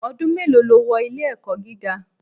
Ọdún mélòó lo wọ ilé-ẹ̀kọ́ gíga?